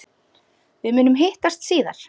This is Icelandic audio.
Við munum hittast síðar.